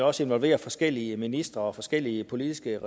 også involverer forskellige ministre og forskellige politiske